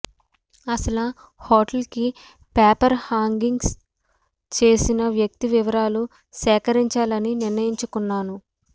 అసలా హోటల్కి paper hangings చేసిన వ్యక్తి వివరాలు సేకరించాలని నిర్ణయించుకున్నాను